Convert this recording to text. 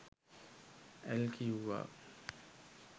ඇල් කිවුවා